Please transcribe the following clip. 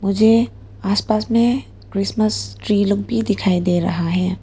मुझे आसपास में क्रिसमस ट्री लोग भी दिखाई दे रहा है।